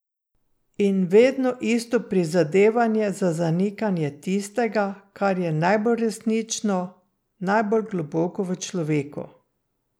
In vedno isto prizadevanje za zanikanje tistega, kar je najbolj resnično, najbolj globoko v človeku.